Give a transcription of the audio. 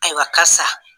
Ayiwa karisa